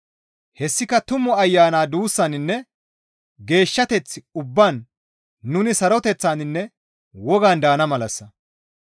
Hessika Tumu Ayana duussaninne geeshshateth ubbaan nuni saroteththaninne wogan daana malassa.